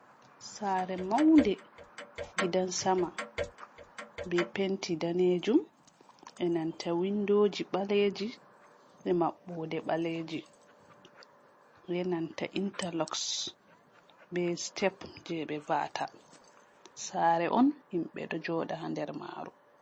Sare maunde gidansama be penti danejum enanta windoji ɓaleji e maɓɓode ɓaleji benanta interloxs be step je ɓe va'ata, sare on himɓɓe ɗo joɗa nder maru.